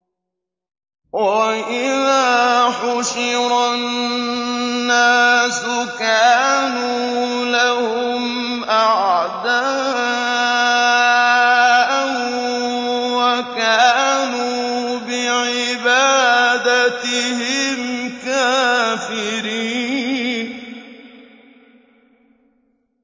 وَإِذَا حُشِرَ النَّاسُ كَانُوا لَهُمْ أَعْدَاءً وَكَانُوا بِعِبَادَتِهِمْ كَافِرِينَ